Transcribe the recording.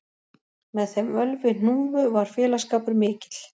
Með þeim Ölvi hnúfu var félagsskapur mikill